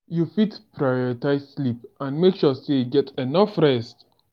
you fit prioritize sleep and make sure you get enough rest.